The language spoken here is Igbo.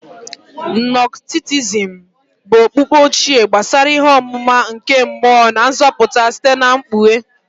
Gnostikism bụ okpukpe ochie gbasara ihe ọmụma nke mmụọ na nzọpụta site na mkpughe.